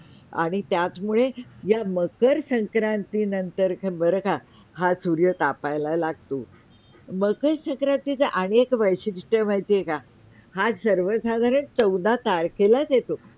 आणि त्याच मुळे या मकर संक्रांती नंतर हा बरं का! हा सूर्य तापायला लागतो, मकर संक्रांतीचा अनेक वैशिष्ठ्य माहिती आहे का? हा सर्वसाधारण चौदा तारखेलाच येतो.